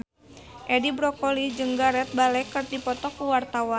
Edi Brokoli jeung Gareth Bale keur dipoto ku wartawan